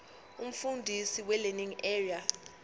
umfundisi welearning area